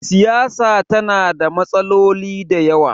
siyasa tana da matsaloli da yawa